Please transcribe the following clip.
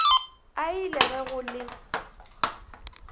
ai le ge go le